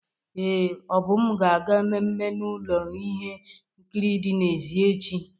Ee, Obum ga-aga mmemme na ụlọ ihe nkiri dị n'èzí echi.